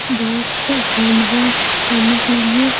बहुत से hand wash करने के लिए --